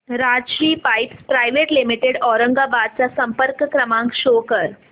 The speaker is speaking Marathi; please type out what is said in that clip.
Rajshri pipes private limited Aurangabad चा संपर्क क्रमांक शो कर